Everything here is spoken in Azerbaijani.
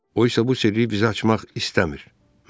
O isə bu sirri bizə açmaq istəmir.